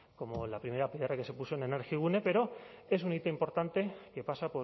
como la primera piedra que se puso en energigune pero es un hito importante que pasa